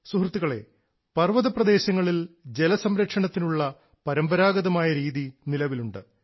സുഹൃത്തുക്കളേ പർവ്വതപ്രദേശങ്ങളിൽ ജലസംരക്ഷണത്തിനുള്ള പരമ്പരാഗതമായ രീതി നിലവിലുണ്ട്